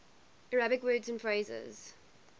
arabic words and phrases